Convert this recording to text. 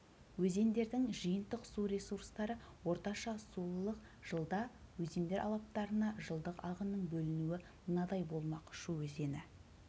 өзендердің жиынтық су ресурстары орташа сулылық жылда өзендер алаптарына жылдық ағынның бөлінуі мынадай болмақ шу өзені